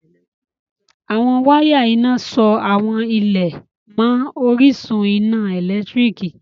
Awọn wàya iná sọ awọn ilẹ̀ mán ọ̀rìṣun iná èlẹ́tiríkì